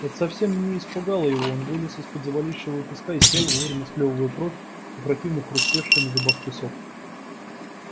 и это совсем не испугало его он вылез из под завалившего его песка и сел вовремя сплёвывая кровь и противно хрустевший на зубах песок